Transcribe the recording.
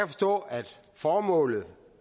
forstå at formålet